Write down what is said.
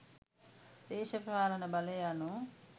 දේශපාලන බලය යනු